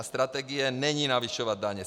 A strategie není navyšovat daně.